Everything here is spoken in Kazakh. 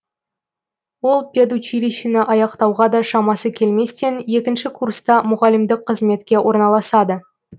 ол педучилищені аяқтауға да шамасы келместен екінші курста мұғалімдік қызметке орналасады